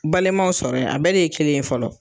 Balimaw sɔrɔ yen . A bɛɛ de ye kelen ye fɔlɔ.